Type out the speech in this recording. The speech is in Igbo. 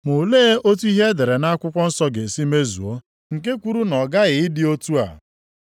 Ma olee otu ihe e dere nʼakwụkwọ nsọ ga-esi mezuo, nke kwuru na ọ ghaghị ịdị otu a?”